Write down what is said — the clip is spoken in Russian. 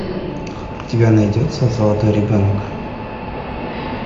у тебя найдется золотой ребенок